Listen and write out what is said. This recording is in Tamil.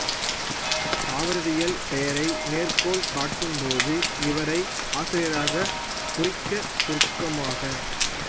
தாவரவியல் பெயரை மேற்கோள் காட்டும்போது இவரை ஆசிரியராகக் குறிக்க சுருக்கமாக